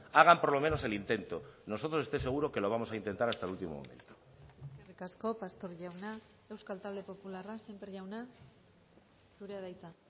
hagan por lo menos el intento nosotros estoy seguro que lo vamos a intentar hasta el último momento eskerrik asko pastor jauna euskal talde popularra sémper jauna zurea da hitza